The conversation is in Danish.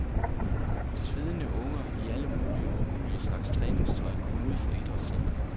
Svedende unger i alle mulige og umulige slags træningstøj kom ud fra idrætscenteret.